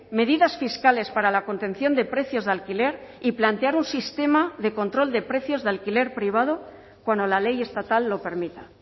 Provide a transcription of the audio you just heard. medidas fiscales para la contención de precios de alquiler y plantear un sistema de control de precios de alquiler privado cuando la ley estatal lo permita